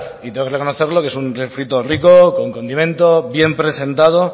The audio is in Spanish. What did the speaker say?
y tengo que reconocerlo que es un refrito rico con condimento bien presentado